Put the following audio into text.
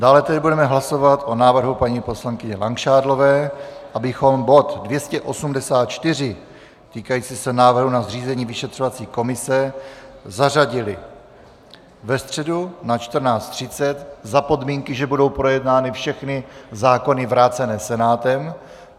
Dále tedy budeme hlasovat o návrhu paní poslankyně Langšádlové, abychom bod 284 týkající se návrhu na zřízení vyšetřovací komise zařadili ve středu na 14.30 za podmínky, že budou projednány všechny zákony vrácené Senátem.